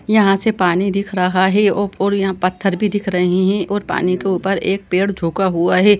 यहाँ से पानी दिख रहा है और यहाँ पत्थर भी दिख रहे हैं और पानी के ऊपर एक पेड़ झुका हुआ है।